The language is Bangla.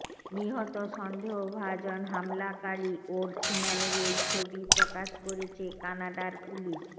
নিহত সন্দেহভাজন হামলাকারী ওর্টম্যানের এই ছবি প্রকাশ করেছে কানাডার পুলিশ